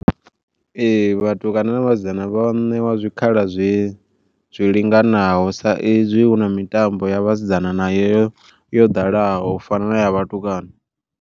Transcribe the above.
Ee vhatukana na vhasidzana vho ṋewa zwikhala zwi zwi linganaho sa izwi huna mitambo ya vhasidzana na yo yo ḓalaho u fana naya vhatukana.